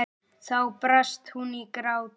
Þá brast hún í grát.